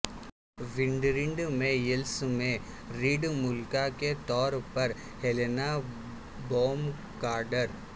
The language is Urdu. وینڈرینڈ میں یلس میں ریڈ ملکہ کے طور پر ہیلینا بونم کارٹر